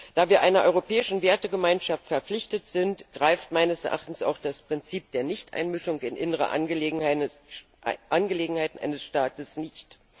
Da wir einer europäischen Wertegemeinschaft verpflichtet sind, greift meines Erachtens auch das Prinzip der Nichteinmischung in innere Angelegenheiten eines Staates nicht.